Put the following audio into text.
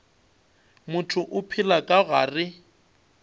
motho o phela ka gare